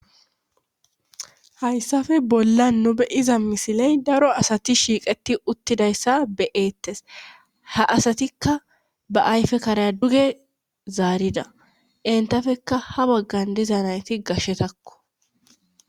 hayssafe bolla nu be iza misiley daro asati shiiqeti uttidayssa be7eettes ha asatikka ba ayfe karaya duge zaarida entafekka ha baggan diza nayti gashetakko